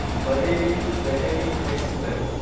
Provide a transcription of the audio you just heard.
Bareilly Delhi express